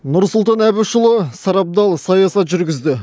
нұрсұлтан әбішұлы сарабдал саясат жүргізді